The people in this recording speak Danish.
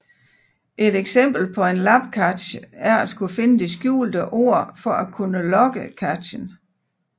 Et eksempel på en labcache er at skulle finde det skjulte ord for at kunne logge cachen